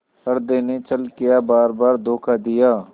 हृदय ने छल किया बारबार धोखा दिया